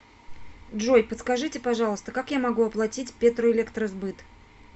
джой подскажите пожалуйста как я могу оплатить петроэлектросбыт